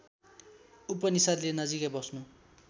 उपनिषद्ले नजिकै बस्नु